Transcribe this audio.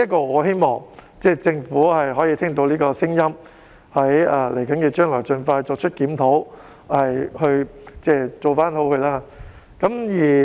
我希望政府聽到這個聲音，在未來能夠盡快作出檢討，從而作出改善。